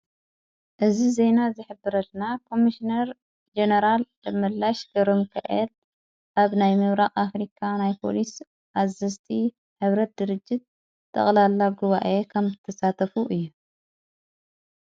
እዝ ዜና ዘኅብረትና ቆምስነር ጀነራል ደመላሽ ቀሮምከኤድ ኣብ ናይ ምብራቕ ኣፍሪካ ናይጶልስ ኣዘስቲ ሕብረት ድርጅት ተቕላላ ግዋ እየ ኸም ተሳተፉ እዩ።